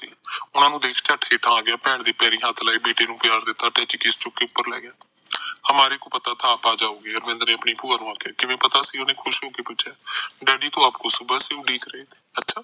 ਉਹਨਾ ਨੂੰ ਦੇਖ ਝੱਟ ਹੇਠਾ ਆ ਗਿਆ ਭੈਣ ਦੇ ਪੈਰੀ ਹੱਥ ਲਾਏ ਬੇਟੇ ਨੂੰ ਪਿਆਰ ਦਿੱਤਾ ਟੈਚੀ ਕੇਸ ਚੁਕੀ ਉਪਰ ਲੈ ਗਿਆ ਹਮਾਰੇ ਕੋ ਪਤਾ ਥਾ ਆਪ ਆਜਾਉਗੇ ਦਵਿੰਦਰ ਨੇ ਆਪਣੀ ਭੂਆ ਨੂੰ ਆਖਿਆ ਕਿਵੇਂ ਪਤਾ ਸੀ ਓਹਨੇ ਖੁਸ਼ ਹੋ ਕੇ ਪੁੱਛਿਆ ਡੈਡੀ ਤੋਂ ਅੱਪ ਕੋ ਸੁਭਾ ਸੇ ਉਡੀਕ ਰਹੇ ਅੱਛਾ